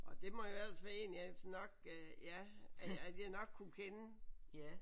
Og det må jo ellers være en jeg snakkede ja at jeg nok kunne kende